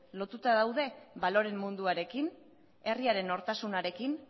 lotuta daude baloreen munduarekin herriaren nortasunarekin